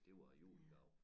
Det var æ julegave